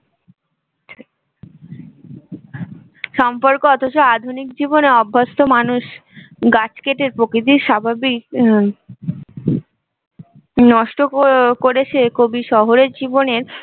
সম্পর্ক অথচ আধুনিক জীবনে অভ্যস্থ মানুষ গাছ কেটে প্রকৃতির স্বাভাবিক নষ্ট করেছে কবি শহরের জীবনের